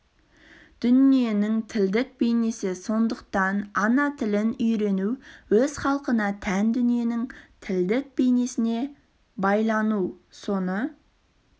дүниенің тілдік бейнесі сондықтан ана тілін үйрену өз халқына тән дүниенің тілдік бейнесіне байлану соны